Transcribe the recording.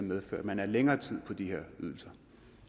medfører at man er længere tid på de her ydelser